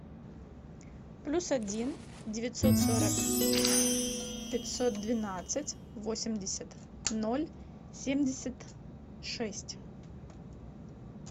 плюс один девятьсот сорок пятьсот двенадцать восемьдесят ноль семьдесят шесть